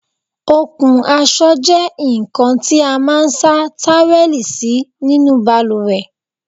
Okùn aṣọ jẹ nkan tí a máa n sa táwẹ́lì sí nínú baluwẹ̀